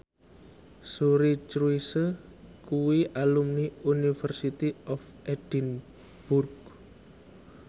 Suri Cruise kuwi alumni University of Edinburgh